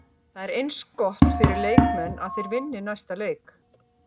Það er eins gott fyrir leikmenn að þeir vinni næsta leik.